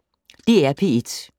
DR P1